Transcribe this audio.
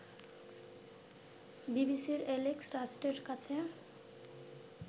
বিবিসির এ্যালেক্স লাস্টের কাছে